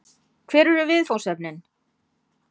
Hver eru viðfangsefnin?